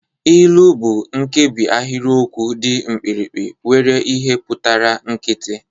Ilu bụ nkebi ahịrịokwu dị mkpirikpi nwere ihe pụtara nkịtị